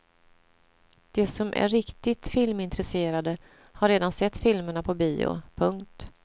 De som är riktigt filmintresserade har redan sett filmerna på bio. punkt